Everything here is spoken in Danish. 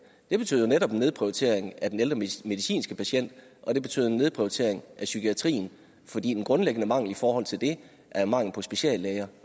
det betød jo netop en nedprioritering af den ældre medicinske patient og det betød en nedprioritering af psykiatrien fordi den grundlæggende mangel i forhold til det er mangel på speciallæger